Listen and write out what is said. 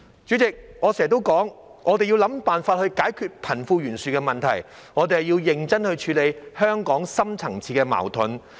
主席，我經常說，我們要想辦法解決貧富懸殊問題，我們要認真處理香港的深層次矛盾。